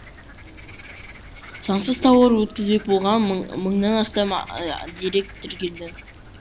заңсыз тауар өткізбек болған мың мыңнан астам дерек тіркелді